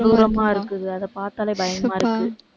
கொடூரமா இருக்குது. அதை பார்த்தாலே பயமா இருக்கு